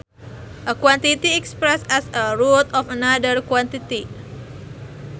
A quantity expressed as a root of another quantity